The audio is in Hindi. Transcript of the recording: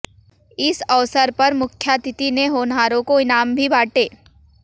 इस अवसर पर मुख्यातिथि ने होनहारों को इनाम भी बांटे